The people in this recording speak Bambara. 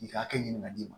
I ka hakɛ ɲini ka d'i ma